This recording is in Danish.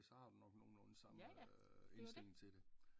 Ja så har du nok nogenlunde samme indstilling til det